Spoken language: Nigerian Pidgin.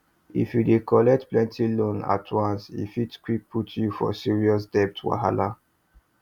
if you dey collect plenty loans at once e fit quick put you for serious debt wahala